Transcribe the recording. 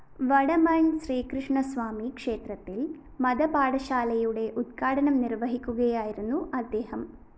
വടമണ്‍ ശ്രീകൃഷ്ണസ്വാമി ക്ഷേത്രത്തില്‍ മതപാഠശാലയുടെ ഉദ്ഘാടനം നിര്‍വഹിക്കുകയായിരുന്നു അദ്ദേഹം